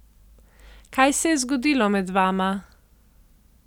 Kaj se je zgodilo med vama?